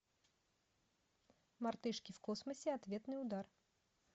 мартышки в космосе ответный удар